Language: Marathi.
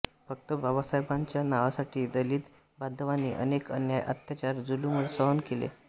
फक्त बाबासाहेबांच्या नावासाठी दलित बांधवांनी अनेक अन्याय अत्याचार जुलूम सहन केले